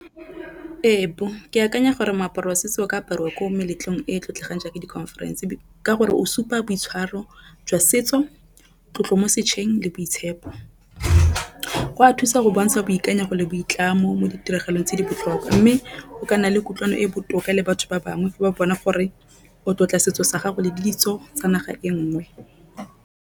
Ee, ke akanya gore moaparo wa setso o ka apariwa ko meletlong e e tlotlegang jaaka di conference ka gore o supa boitshwaro jwa setso tlotlo mo le boitshepo. Go a thusa go bontsha boikanyego le boitlamo mo ditiragalong tse di botlhokwa mme o ka nna le kutlwano e botoka le batho ba bangwe ba bona gore o tlotla setso sa gago le ditso tsa naga e nngwe.